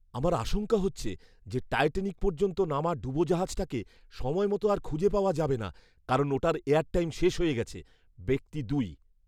আমার আশঙ্কা হচ্ছে যে টাইটানিক পর্যন্ত নামা ডুবোজাহাজটাকে সময়মতো আর খুঁজে পাওয়া যাবে না কারণ ওটার এয়ার টাইম শেষ হয়ে গেছে। ব্যক্তি দুই